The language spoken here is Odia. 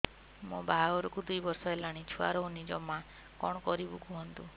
ମୋ ବାହାଘରକୁ ଦୁଇ ବର୍ଷ ହେଲାଣି ଛୁଆ ରହୁନି ଜମା କଣ କରିବୁ କୁହନ୍ତୁ